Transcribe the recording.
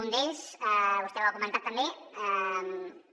un d’ells vostè ho ha comentat també